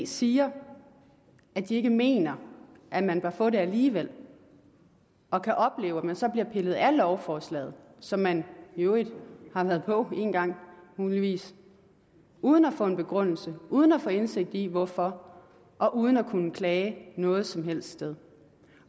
siger at de ikke mener at man bør få det alligevel og kan opleve at man så bliver pillet af lovforslaget som man i øvrigt har været på engang muligvis uden at få en begrundelse uden at få indsigt i hvorfor og uden at kunne klage noget som helst sted